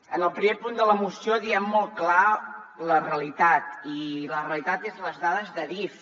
en el primer punt de la moció diem molt clar la realitat i la realitat són les dades d’adif